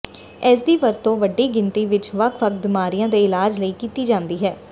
ਇਸਦੀ ਵਰਤੋਂ ਵੱਡੀ ਗਿਣਤੀ ਵਿੱਚ ਵੱਖ ਵੱਖ ਬਿਮਾਰੀਆਂ ਦੇ ਇਲਾਜ ਲਈ ਕੀਤੀ ਜਾਂਦੀ ਹੈ